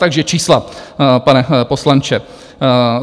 Takže čísla, pane poslanče.